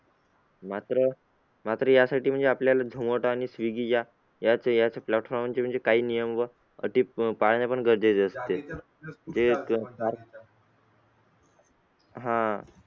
मात्र मात्र यासाठी म्हणजे आपल्याला zomato आणि swigy या याच याच platform वरचे काही नियम व अटी पाळणे पण गरजेचे असते. आह